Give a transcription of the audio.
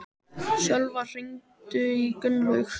Sölva, hringdu í Gunnlaug.